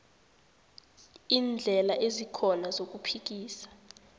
iindlela ezikhona zokuphikisa